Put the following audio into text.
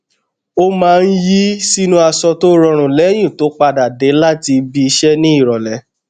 ó maá n yí sínú aṣọ tó rọrùn lẹyìn tó padà dé láti ibi iṣẹ ní ìrọlẹ